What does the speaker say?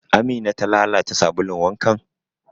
Amina ta lalata sabulun wankan?